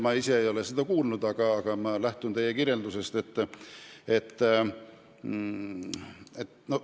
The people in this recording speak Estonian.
Ma ise ei ole seda kuulnud, aga ma lähtun teie kirjeldusest.